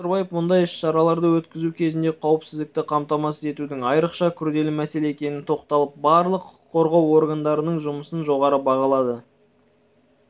назарбаев мұндай іс-шараларды өткізу кезінде қауіпсіздікті қамтамасыз етудің айрықша күрделі мәселе екеніне тоқталып барлық құқық қорғау органдарының жұмысын жоғары бағалады